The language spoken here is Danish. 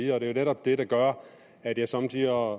er netop det der gør at jeg somme tider